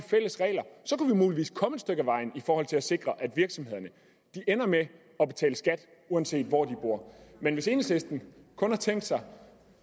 muligvis komme et stykke ad vejen i forhold til at sikre at virksomhederne ender med at betale skat uanset hvor de bor men hvis enhedslisten kun har tænkt sig